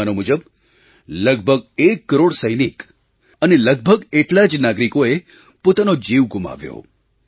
અનુમાનો મુજબ લગભગ 1 કરોડ સૈનિક અને લગભગ એટલા જ નાગરિકોએ પોતાનો જીવ ગુમાવ્યો